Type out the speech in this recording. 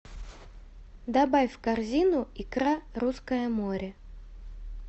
добавь в корзину икра русское море